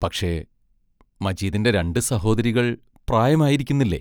പക്ഷേ, മജീദിന്റെ രണ്ട് സഹോദരികൾ പ്രായമായിരിക്കുന്നില്ലേ?